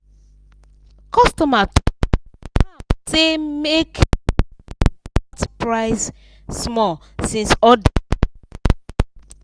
customer talk calm say make dem dem cut price small since order plenty.